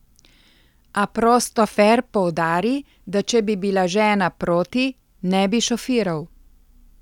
A prostofer poudari, da če bi bila žena proti, ne bi šofiral.